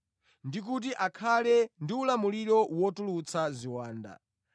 ndi kuti akhale ndi ulamuliro wotulutsa ziwanda.